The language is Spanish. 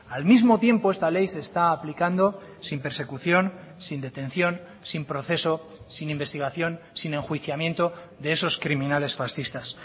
al mismo tiempo esta ley se está aplicando sin persecución sin detención sin proceso sin investigación sin enjuiciamiento de esos criminales fascistas